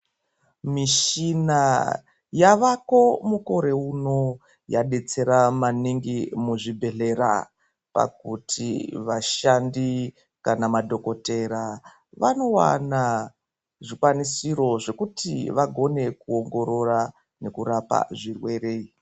Mishina yavako mukore uno yadetsera maningi muzvibhedhlera pakuti vashandi kana madhokotera vanowana zvikwanisiro zvekuti vagone kuongorora nekurapa zvirwere.